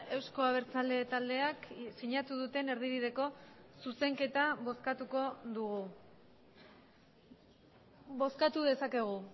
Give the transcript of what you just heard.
euzko abertzale taldeak sinatu duten erdibideko zuzenketa bozkatuko dugu bozkatu dezakegu